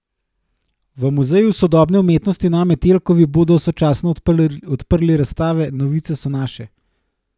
V Muzeju sodobne umetnosti na Metelkovi bodo sočasno odprli razstave Novice so naše!